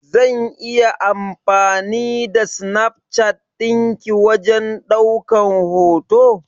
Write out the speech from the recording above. Zan iya amfani da Snapchat din ki wajen daukan hoto?